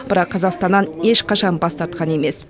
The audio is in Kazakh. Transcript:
бірақ қазақстаннан ешқашан бас тартқан емес